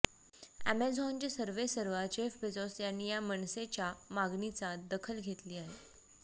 अॅमेझॉनचे सर्वेसर्वा Jeff Bezos यांनी या मनसेच्या मागणीचा दखल घेतली आहे